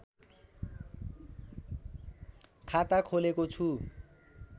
खाता खोलेको छु